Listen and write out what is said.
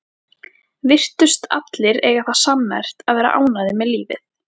Virtust allir eiga það sammerkt að vera ánægðir með lífið.